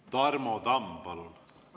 Tarmo Tamm, palun!